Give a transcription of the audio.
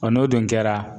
Ɔ n'o dun kɛra